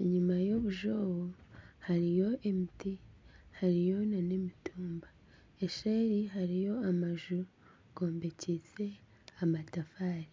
enyima y'obuju obwo hariyo emiti hariyo nana emitumba eseeri hariyo amaju gombekyeise amatafaari